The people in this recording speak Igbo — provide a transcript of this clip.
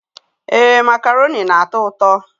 Ee, macaroni na-atọ ụtọ.